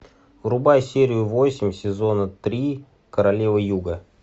врубай серию восемь сезона три королева юга